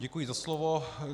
Děkuji za slovo.